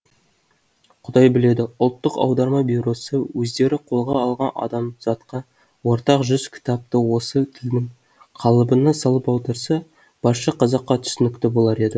құдай біледі ұлттық аударма бюросы өздері қолға алған адамзатқа ортақ жүз кітапты осы тілдің қалыбына салып аударса барша қазаққа түсінікті болар еді